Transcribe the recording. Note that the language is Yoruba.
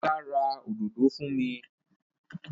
Ọlá ra òdòdó fún mi.